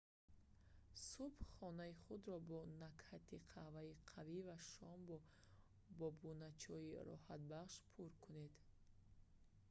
субҳ хонаи худро бо накҳати қаҳваи қавӣ ва шом бо бобуначойи роҳатбахш пур кунед